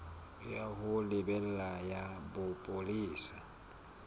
ya ho lebela ya bopolesa